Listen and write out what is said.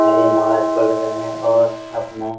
और ये नमाज़ पढ़ रहे हैं और हाथ में --